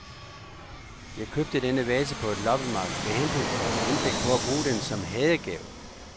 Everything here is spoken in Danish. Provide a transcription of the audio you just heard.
Jeg købte denne vase på et loppemarked med henblik på at bruge den som hadegave.